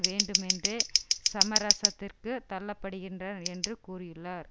வேண்டுமென்றே சமரசத்திற்குத் தள்ளப்படுகின்ற என்று கூறியுள்ளார்